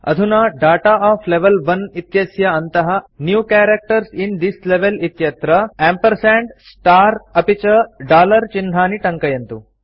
अधुना data of level 1 इत्यस्य अन्तः new characters in this level इत्यत्र एम्पर्संड स्टार अपि च डॉलर चिह्नानि टङ्कयन्तु